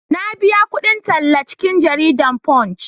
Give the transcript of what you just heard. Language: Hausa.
na biya kudin talla a cikin jaridan "Punch"